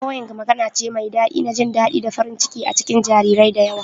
Cooing magana ce mai daɗi na jin daɗi da farin ciki a cikin jarirai da yawa